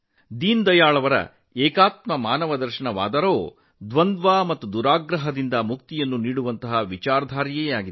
ದೀನದಯಾಳ್ ಅವರ ಏಕಾತ್ಮ ಮಾನವದರ್ಶನವು ಸಿದ್ಧಾಂತದ ಕ್ಷೇತ್ರದಲ್ಲಿ ಸಂಘರ್ಷ ಮತ್ತು ಪೂರ್ವಾಗ್ರಹದಿಂದ ಮುಕಿಯನ್ನು ನೀಡುವ ಒಂದು ಕಲ್ಪನೆಯಾಗಿದೆ